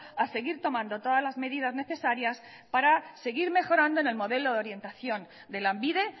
a seguir tomando todas las medidas necesarias para seguir mejorando en el modelo de orientación de lanbide